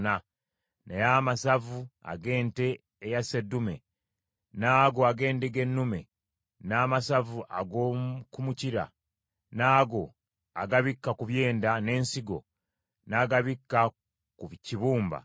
Naye amasavu ag’ente eya sseddume n’ago ag’endiga ennume, n’amasavu ag’oku mukira, n’ago agabikka ku byenda, n’ensigo, n’agabikka ku kibumba,